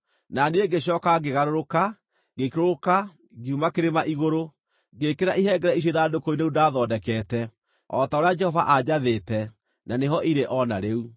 Na niĩ ngĩcooka ngĩgarũrũka, ngĩikũrũka, ngiuma kĩrĩma igũrũ, ngĩĩkĩra ihengere icio ithandũkũ-inĩ rĩu ndaathondekete o ta ũrĩa Jehova aanjathĩte, na nĩho irĩ o na rĩu.